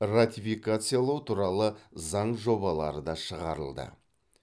ратификациялау туралы заң жобалары да шығарылды